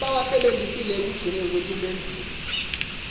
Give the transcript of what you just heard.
labawasebentisile ekugcineni kwetimphendvulo